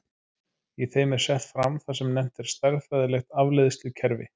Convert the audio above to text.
Í þeim er sett fram það sem nefnt er stærðfræðilegt afleiðslukerfi.